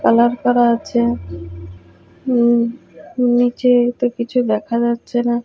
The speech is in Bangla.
কালার করা আছে উম নীচে তো কিছু দেখা যাচ্ছে না।